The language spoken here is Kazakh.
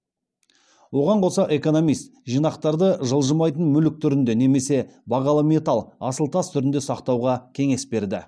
оған қоса экономист жинақтарды жылжымайтын мүлік түрінде немесе бағалы металл асыл тас түрінде сақтауға кеңес берді